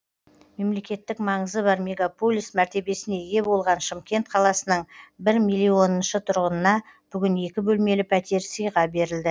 мемлекеттік маңызы бар мегаполис мәртебесіне ие болған шымкент қаласының бір миллионыншы тұрғынына бүгін екі бөлмелі пәтер сыйға берілді